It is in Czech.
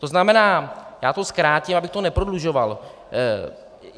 To znamená - já to zkrátím, abych to neprodlužoval.